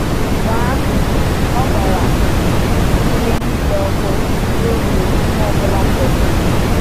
Mgbe ahụ, o gbara ihe niile ọkụ ruo mgbe ihe ọ bụla fọdụrụ.